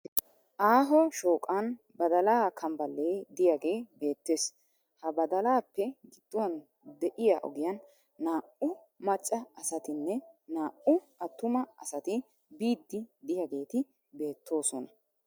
Aaho shooqan badalaa kambballee diyagee beettes. Ha badalaappe gidduwan de'iya ogiyan naa"u macca asatinne naa"u attuma asati biiddi diyageeti beettoosona.